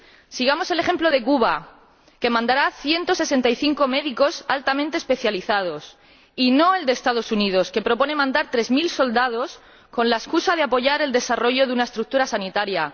Sigamos el ejemplo de Cuba, que mandará ciento sesenta y cinco médicos altamente especializados, y no el de los Estados Unidos, que proponen mandar tres mil soldados con la excusa de apoyar el desarrollo de una estructura sanitaria.